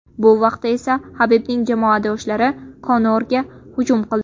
Bu vaqtda esa Habibning jamoadoshlari Konorga hujum qildi.